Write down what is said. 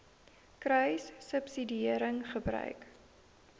kruissubsidiëringgebruik